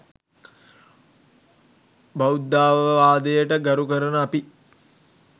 බුද්ධාවවාදයට ගරු කරන අපි